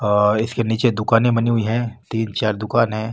और इसके निचे दुकाने बनी हुई है तीन चार दुकाने --